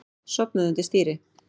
Sofnaði undir stýri